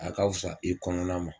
A ka fisa i kɔnɔna ma